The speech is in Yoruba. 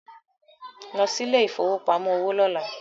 Lọ sí ilẹ̀ ìfowópamọ́ òwò lọ́lá